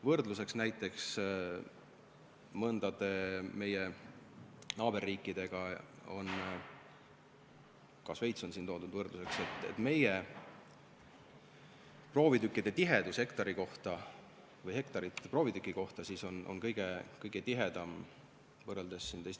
Võrdluseks näiteks mõne meie naaberriigiga – ka Šveitsi on siin võrdluseks toodud – saab öelda, et meie proovitükkide tihedus on kõige suurem, hektareid ühe proovitüki kohta on teiste riikidega võrreldes kõige vähem.